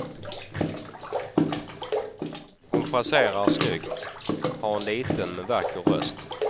Hon fraserar snyggt, har en liten men vacker röst.